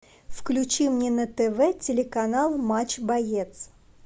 включи мне на тв телеканал матч боец